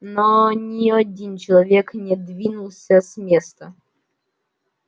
но ни один человек не двинулся с места